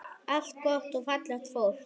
Allt gott og fallegt fólk.